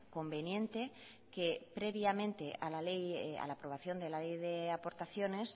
conveniente que previamente a la aprobación de la ley de aportaciones